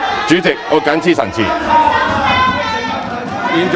主席，我謹此陳辭。